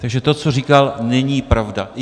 Takže to, co říkal, není pravda.